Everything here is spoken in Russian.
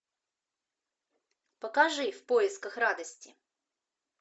покажи в поисках радости